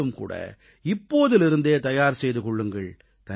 நீங்களும் இப்போதிருந்தே தயார் செய்து கொள்ளுங்கள்